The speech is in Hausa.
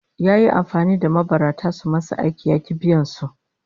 Yayi amfani da mabarata sun masa aiki ya ki biyan su